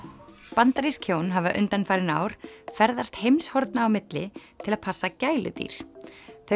bandarísk hjón hafa undanfarin ár ferðast heimshorna á milli til að passa gæludýr þau